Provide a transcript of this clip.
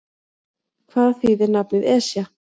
Hvað þýðir nafnið Esja?